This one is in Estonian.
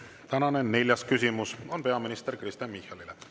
Tänane neljas küsimus on peaminister Kristen Michalile.